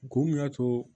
Kun mun y'a to